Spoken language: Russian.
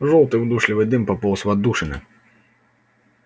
жёлтый удушливый дым пополз в отдушины